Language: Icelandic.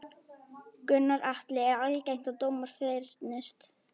Gunnar Atli: Er algengt að dómar fyrnist?